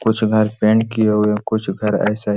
कुछ घर पेंट किये हुए है कुछ घर ऐसा ही--